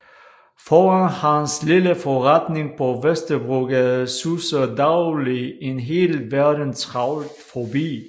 Foran hans lille forretning på Vesterbrogade suser dagligt en hel verden travlt forbi